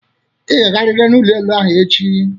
Ị ga-agarịrị n'ụlọ elụ ahụ echi!